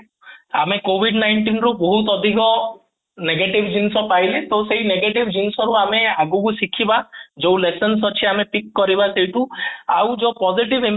ଆମେ covid nineteen ରୁ ବହୁତ ଅଧିକ negative ଜିନିଷ ପାଇଲେ ଯୋଉଟା କି negative ଜିନିଷ ରୁ ଆମେ ଆଗକୁ ଶିଖିବା ଯୋଉ lessons ଅଛି ଆମେ peak କରିବା ସେଇଠୁ ଆଉ ଯୋଉ positive